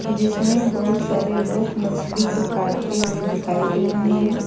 जिसमें बहुत सारे लोग मछली को काटते हुए दिखाई दे रहे हैं।